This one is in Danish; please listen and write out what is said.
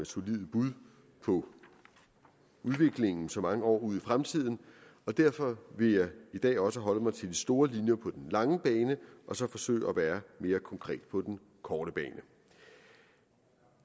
solide bud på udviklingen så mange år ud i fremtiden og derfor vil jeg i dag også holde mig til de store linjer på den lange bane og så forsøge at være mere konkret på den korte bane